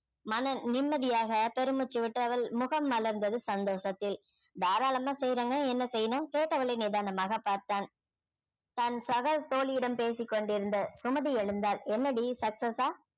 மன நிம்மதியாக பெருமூச்சு விட்டு அவள் முகம் மலர்ந்தது சந்தோஷத்தில் தாராளமா செய்யுறேங்க என்ன செய்யணும் கேட்டவளை நிதானமாக பார்த்தான் தன் சக தோழியிடம் பேசிக் கொண்டிருந்த சுமதி எழுந்தாள் என்னடீ successs ஆ